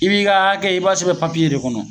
I' b'i ka akɛ i b'a sɛbɛn papiye de kɔnɔ